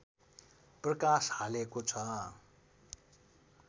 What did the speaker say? प्रकाश हालेको छ।